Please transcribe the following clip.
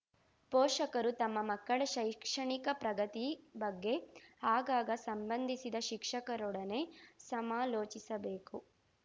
ಪೋಷಕರು ತಮ್ಮ ಮಕ್ಕಳ ಶೈಕ್ಷಣಿಕ ಪ್ರಗತಿ ಬಗ್ಗೆ ಆಗಾಗ ಸಂಭಂಧಿಸಿದ ಶಿಕ್ಷಕರೊಡನೆ ಸಮಾಲೋಚಿಸಬೇಕು